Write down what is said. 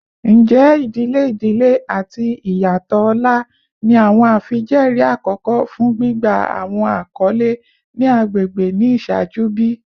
Njẹ idile idile ati iyatọ ọlá ni awọn afijẹẹri akọkọ fun gbigba awọn akọle ni agbegbe ni iṣaaju bi?